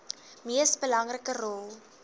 mees belangrike rol